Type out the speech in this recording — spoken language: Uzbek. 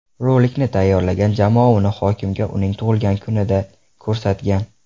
Rolikni tayyorlagan jamoa uni hokimga uning tug‘ilgan kunida ko‘rsatgan.